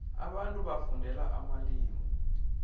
abantu bafundela amalimu